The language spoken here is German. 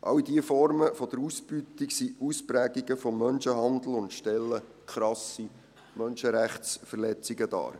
All diese Formen der Ausbeutung sind Ausprägungen des Menschenhandels und stellen krasse Menschenrechtsverletzungen dar.